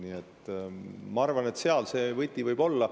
Nii et ma arvan, et seal see võti võib olla.